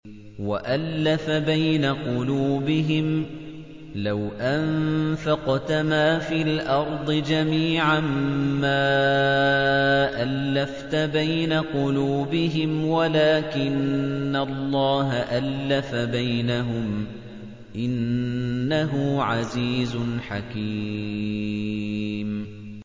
وَأَلَّفَ بَيْنَ قُلُوبِهِمْ ۚ لَوْ أَنفَقْتَ مَا فِي الْأَرْضِ جَمِيعًا مَّا أَلَّفْتَ بَيْنَ قُلُوبِهِمْ وَلَٰكِنَّ اللَّهَ أَلَّفَ بَيْنَهُمْ ۚ إِنَّهُ عَزِيزٌ حَكِيمٌ